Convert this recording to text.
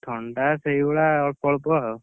ଥଣ୍ଡା ସେଇଭଳିଆ ଅଳ୍ପଅଳ୍ପ ଆଉ।